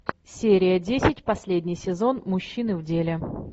серия десять последний сезон мужчины в деле